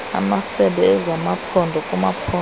amasebe ezamamaphondo kumaphondo